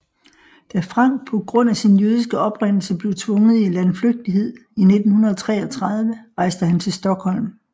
Da Frank på grund af sin jødiske oprindelse blev tvunget i landflygtighed i 1933 rejste han til Stockholm